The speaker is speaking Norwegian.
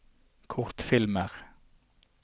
kortfilmer